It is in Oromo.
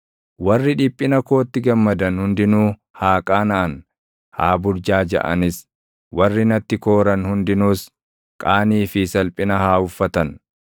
Warri dhiphina kootti gammadan hundinuu haa qaanaʼan; haa burjaajaʼanis; warri natti kooran hundinuus, qaanii fi salphina haa uffatan.